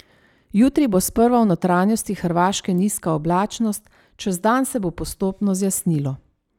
Jutri bo sprva v notranjosti Hrvaške nizka oblačnost, čez dan se bo postopno zjasnilo.